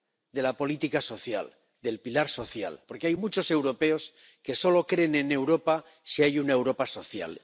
de la política social, del pilar social, porque hay muchos europeos que solo creen en Europa si hay una Europa social.